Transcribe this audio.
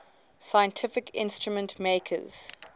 scientific instrument makers